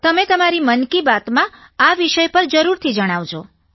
તમે તમારી મન કી બાત માં આ વિષય પર જરૂરથી જણાવજો